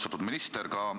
Austatud minister!